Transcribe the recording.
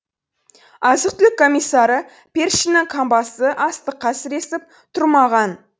азық түлік комиссары першиннің қамбасы астыққа сіресіп тұрмаған